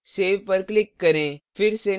save पर click करें